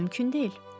Bu mümkün deyil.